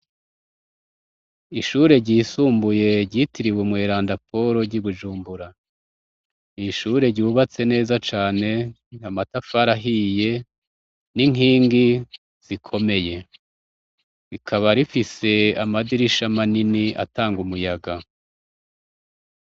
ishure ryisumbuye ryitiriwe umweranda polo ry'ibujumbura, n'ishure ryubatse neza cane, amatafari ahiye n'inkingi ikomeye, rikaba rifise amadirisha manini atanga umuyaga.